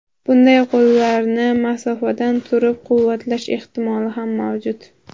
Bunday qo‘llarni masofadan turib quvvatlash ehtimoli ham mavjud.